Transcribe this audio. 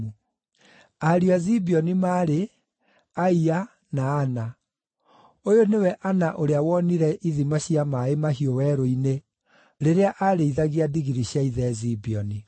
Ariũ a Zibeoni maarĩ: Aia, na Ana. Ũyũ nĩwe Ana ũrĩa wonire ithima cia maaĩ mahiũ werũ-inĩ rĩrĩa arĩithagia ndigiri cia ithe Zibeoni.